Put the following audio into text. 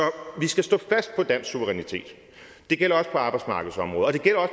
vi skal stå fast på dansk suverænitet det gælder også på arbejdsmarkedsområdet